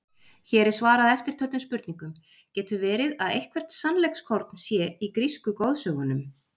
Hér er svarað eftirtöldum spurningum: Getur verið að eitthvert sannleikskorn sé í grísku goðsögunum?